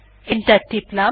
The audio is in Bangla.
এন্টার টিপলাম